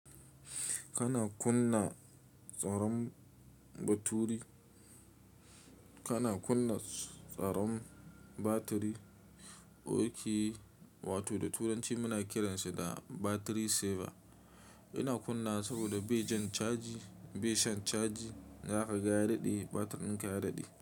Kana kunna tsaron baturi, kana kunna tsaron batiri, okay wato da turanci muna kiranshi da battery saver. Ina kunna saboda bai jan caji, bai shan caji, zaka ga ya daɗe batirinka ya daɗe.